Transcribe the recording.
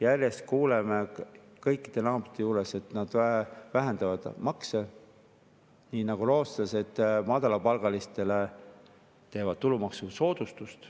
Järjest kuuleme, et kõik naabrid vähendavad makse, näiteks rootslased teevad madalapalgalistele tulumaksusoodustuse.